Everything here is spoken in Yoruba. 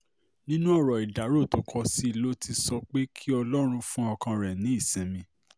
nínú ọ̀rọ̀ ìdárò tó kọ sí i ló ti sọ pé kí ọlọ́run fún ọkàn rẹ̀ ní ìsinmi